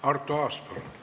Arto Aas, palun!